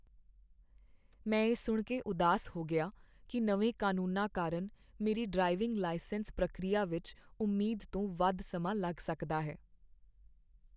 ਮੈਂ ਇਹ ਸੁਣ ਕੇ ਉਦਾਸ ਹੋ ਗਿਆ ਕਿ ਨਵੇਂ ਕਾਨੂੰਨਾਂ ਕਾਰਨ ਮੇਰੀ ਡਰਾਈਵਿੰਗ ਲਾਇਸੈਂਸ ਪ੍ਰਕਿਰਿਆ ਵਿੱਚ ਉਮੀਦ ਤੋਂ ਵੱਧ ਸਮਾਂ ਲੱਗ ਸਕਦਾ ਹੈ।